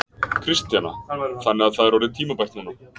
Kristjana: Þannig að það er orðið tímabært núna?